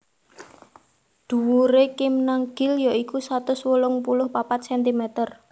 Dhuwure Kim Nam Gil ya iku satus wolung puluh papat sentimeter